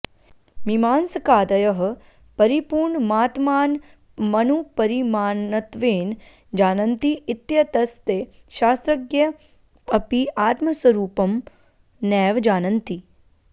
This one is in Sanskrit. मीमांसकादयः परिपूर्णमात्मानमणुपरिमाणत्वेन जानन्ति इत्यतस्ते शास्त्रज्ञा अपि आत्मस्वरूपं नैव जानन्ति